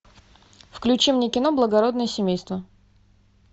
включи мне кино благородное семейство